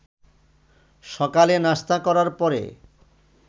সকালে নাশতা করার পরে